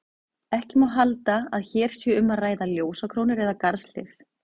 Ekki má halda að hér sé um að ræða ljósakrónur eða garðshlið.